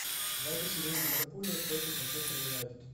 запись игры ливерпуля против манчестер юнайтед